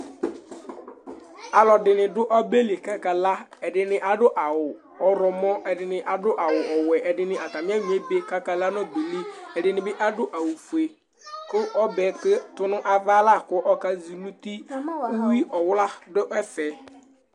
aluɛdɩnɩ adʊ ɔbɛ li kʊ akala, ɛdɩnɩ adʊ awu ɔwlɔmɔ, edɩnɩ adʊ awuwɛ, ɛdɩnɩ ofue, ɛdɩnɩ ɛnyɔ ebe kakala nʊ ɛtsabɛ yɛ li, uwiwla dʊ ɛfɛ,